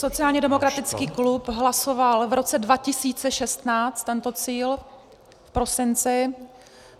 Sociálně demokratický klub hlasoval v roce 2016 tento cíl v prosinci.